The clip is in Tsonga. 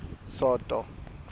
soto